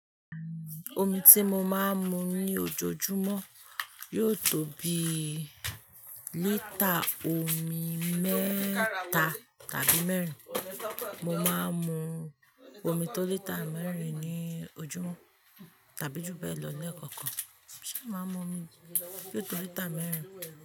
Omi ti mo máa ń mu ní ojoojúmọ́ yóò tó bi lítà omi mẹ́ta tàbí mẹ́rin. Mo máa ń mu omi tó lítà mẹ́rin ní ojúmọ́ tàbí jù bẹ́ẹ̀ lọ lẹ́ẹ̀kọ̀kan. N màá mu omi yóò tó lítà mẹ́rin.